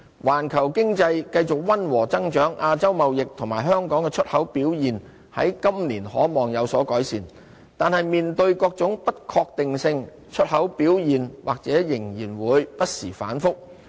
環球經濟繼續溫和增長，亞洲貿易及香港的出口表現在今年可望有所改善，但面對各種不確定性，出口表現或仍然會不時反覆。